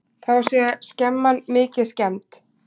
Þá sé skemman mikið skemmd.